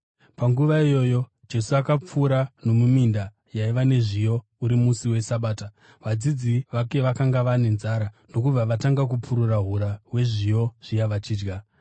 Panguva iyoyo Jesu akapfuura nomuminda yaiva nezviyo uri musi weSabata. Vadzidzi vake vakanga vava nenzara ndokubva vatanga kupurura hura hwezviyo zviya vachidya.